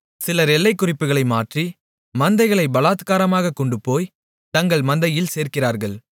சிலர் எல்லைக்குறிப்புகளை மாற்றி மந்தைகளைப் பலாத்காரமாகக் கொண்டுபோய் தங்கள் மந்தையில் சேர்க்கிறார்கள்